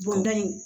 Bɔnda in